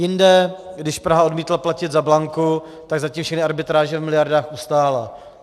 Jinde, když Praha odmítla platit za Blanku, tak zatím všechny arbitráže v miliardách ustála.